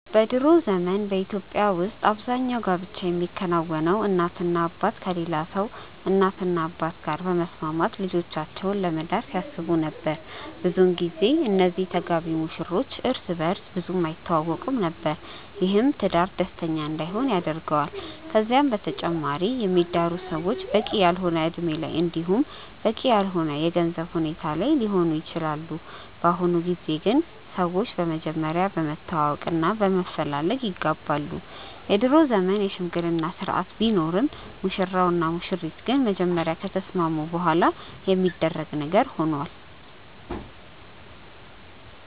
በ ድሮ ዘመን በኢትዮጵያ ውስጥ አብዛኛው ጋብቻ የሚከናወነው እናትና አባት ከሌላ ሰው እናትና አባት ጋር በመስማማት ልጆቻቸውን ለመዳር ሲያስቡ ነበር። ብዙን ጊዜ እነዚህ ተጋቢ ሙሽሮች እርስ በእርስ ብዙም አይተዋወቁም ነበር። ይህም ትዳር ደስተኛ እንዳይሆን ያደርገዋል። ከዛም በተጨማሪ የሚዳሩት ሰዎች በቂ ያልሆነ እድሜ ላይ እንዲሁም በቂ ያልሆነ የገንዘብ ሁኔታ ላይ ሊሆኑ ይችላሉ። በአሁኑ ጊዜ ግን ሰዎች በመጀመሪያ በመተዋወቅ እና በመፈላለግ ይጋባሉ። የድሮ ዘመን የሽምግልና ስርአት ቢኖርም ሙሽራው እና ሙሽሪት ግን በመጀመሪያ ከተስማሙ በኋላ የሚደረግ ነገር ሆኗል።